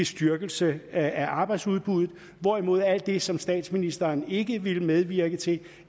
styrkelse af arbejdsudbuddet hvorimod alt det som statsministeren ikke ville medvirke til